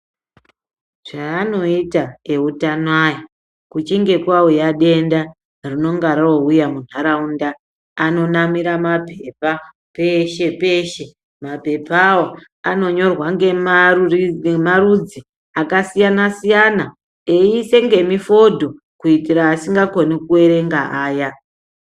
Chaanoita eutanoya kuchinge kwauya denda rinonga rouya muntaraunda, anonamira maphepapeshe-peshe. Maphephawo anonyorwa ngemarudzi akasiyana-siyana, eiise ngemifodho kuitire asingakoni kuerenga aya.